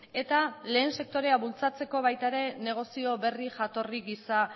eta lehen sektorea bultzatzeko baita ere negozio berri jatorri gisa